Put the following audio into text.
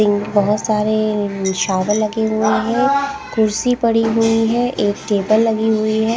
Pink बहुत सारे नि शावर लगे हुए हैं कुर्सी पड़ी हुई हैं एक टेबल लगी हुई हैं ।